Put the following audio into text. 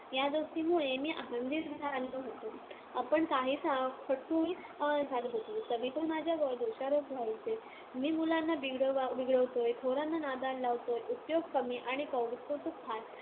या दोस्तीमुळे मी आनंदी झालो होतो. पण काहीसा खट्टूही झालो होतो. सगळीकडून माझ्यावर दोषारोप व्हायचे. मी मुलांना बिघडवतोय, थोरांना नादाला लावतोय, उपयोग कमी आणि कोडकौतुक फार,